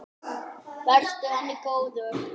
Vertu henni góður.